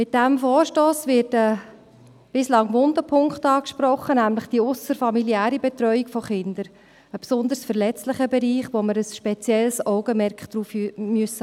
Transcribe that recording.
Mit diesem Vorstoss wird ein bislang wunder Punkt angesprochen, nämlich die ausserfamiliäre Betreuung von Kindern, ein besonders verletzlicher Bereich, auf den wir ein spezielles Augenmerk haben müssen.